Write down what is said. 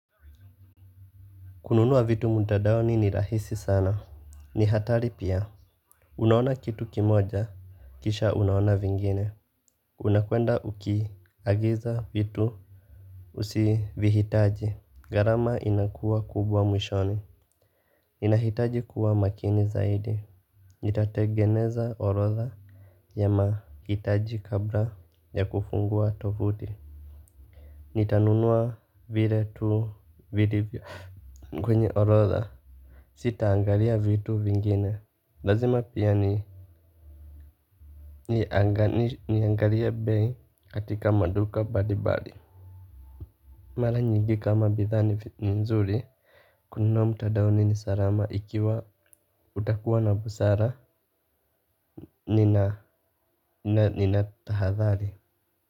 Kununua vitu mtandaoni ni rahisi sana. Ni hatari pia. Unaona kitu kimoja, kisha unaona vingine. Unakwenda uki agiza vitu. Usivihitaji. Gharama inakuwa kubwa mwishoni. Inahitaji kuwa makini zaidi. Nitategeneza orodha ya mahitaji kabla ya kufungua tovuti. Nitanunua vile tu vilivyo kwenye orodha. Sita angalia vitu vingine. Lazima pia ni niangalie bei katika maduka mbali mbali. Mara nyingi kama bidhaa ni nzuri kununua mtandaoni nisalama ikiwa utakuwa na busara. Nina tahadhali.